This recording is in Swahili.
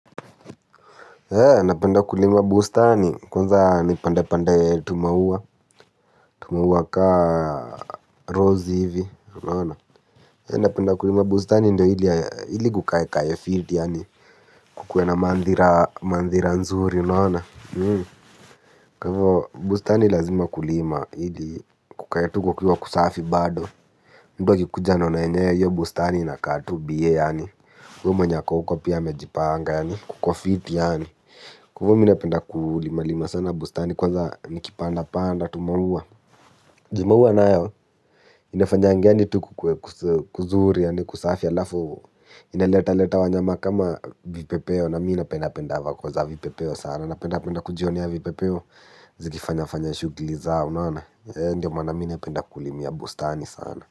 He, napenda kulima bustani, kwanza ni pandepande tumauwa, tumauwa ka rose hivi, unaona napenda kulima bustani ndio ili kukae kae fit, yani kukue na mandhira, mandhira nzuri, unaona. Kwahivyo bustani lazima kulima, ili kukae tu kukiwa kusafi bado. Mtu akikuja anaona yenye bustani inakaa tu bye, yani huyo mwenye ako uko pia amejipanga, yani kukofiti, yani. Kwahivyo mi napenda kulima lima sana bustani kwanza nikipanda panda tumauwa. Juu maua nayo, inafanya yani tu kukuwe kuzuri yaani kusafi alafu inaletaleta wanyama kama vipepeo na mi napendapenda voko za vipepeo sana napendapenda kujionea vipepeo zikifanya fanya shughuli zao, unaona Ndiyo maana mi napenda kulima bustani sana.